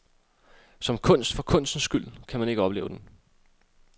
Som kunst for kunstens skyld kan man ikke opleve den.